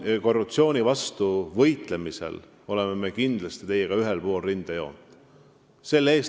Korruptsiooni vastu võitlemisel oleme me teiega kindlasti ühel pool rindejoont.